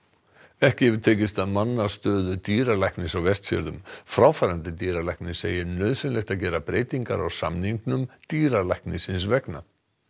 ekki hefur tekist að manna stöðu dýralæknis á Vestfjörðum fráfarandi dýralæknir segir nauðsynlegt að gera breytingar á samningnum dýralæknisins vegna